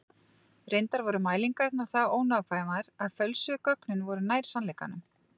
Reyndar voru mælingarnar það ónákvæmar að fölsuðu gögnin voru nær sannleikanum.